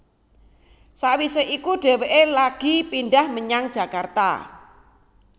Sawisé iku dhéwéké lagi pindhah menyang Jakarta